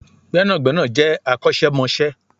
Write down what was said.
Gbẹ́nàgbẹ́nà je akosemose